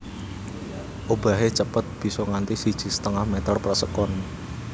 Obahé cepet bisa nganti siji setengah meter per sekon